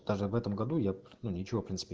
даже в этом году я ну ничего в принципе